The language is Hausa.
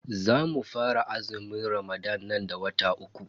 Zamu fara azumin ramadan nan da wata uku.